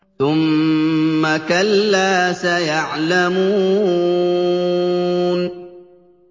ثُمَّ كَلَّا سَيَعْلَمُونَ